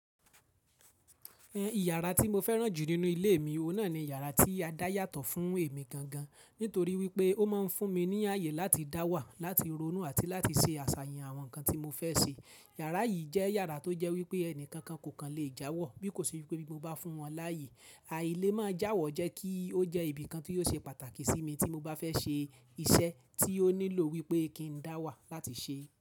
Ẹn, ìyàrá tí mo fẹ́ràn jù nínú ilé mi, ọ̀nà ni yàrá tí a dá yàtọ̀ fún èmi gan gan. Nítorí wípé ó máa ń fún mi ní ààyè láti dá wà, láti ronú àti láti ṣe àṣàyàn àwọn nǹkan tí mo fẹ́ ṣe. Yàrá yìí jẹ́ yàrá tó jẹ́ wípé ẹnìkankan kò kan lè jáwọ́ bí kò ṣe wípé bí mo bá fún wọn láàyè. Àìlé máa jáwọ́ jẹ́ kí ó jẹ́ ibìkan tí yóò ṣe pàtàkì sí mi tí mo bá fẹ́ ṣe iṣẹ́ tí ó nílò wípé kí n dá wà láti ṣe é.